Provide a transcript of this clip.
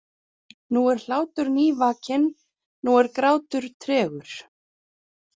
Nú er hlátur nývakinn, nú er grátur tregur.